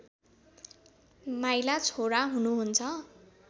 माइला छोरा हुनुहुन्छ